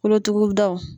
Kolotugudaw